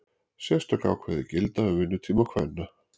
Sérstök ákvæði gilda um vinnutíma kvenna.